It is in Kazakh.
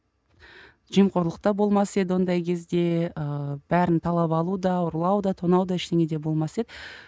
жемқорлықта болмас еді ондай кезде ыыы бәрін талап алу да ұрлау да тонау да ештеңе де болмас еді